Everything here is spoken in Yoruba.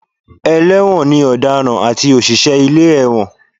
Ẹlẹ́wọ̀n ni ọ̀daràn àti òṣìṣẹ́ ilé ẹ̀wọ̀n